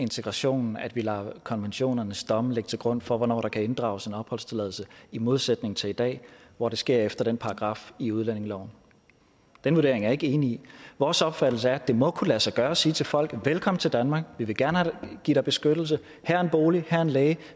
integrationen at vi lader konventionernes domme ligge til grund for hvornår der kan inddrages en opholdstilladelse i modsætning til i dag hvor det sker efter den paragraf i udlændingeloven den vurdering er jeg ikke enig i vores opfattelse er at det må kunne lade sig gøre at sige til folk velkommen til danmark vi vil gerne give dig beskyttelse her er en bolig her er en læge